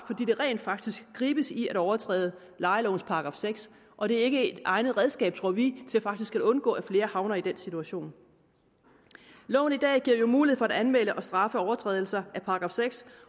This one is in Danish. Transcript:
der rent faktisk gribes i at overtræde lejelovens § seks og det er ikke et egnet redskab tror vi til faktisk at undgå at flere havner i den situation loven i dag giver jo mulighed for at anmelde og straffe overtrædelser af § seks